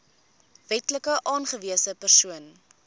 wetlik aangewese persoon